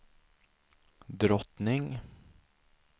drottning